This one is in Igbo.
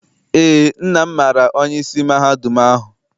Eé, nna m maara onyeisi mahadum ahụ.